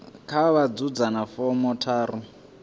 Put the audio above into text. kha vha ḓadze fomo tharu